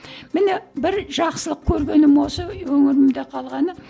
міне бір жақсылық көргенім осы өңірімде қалғаны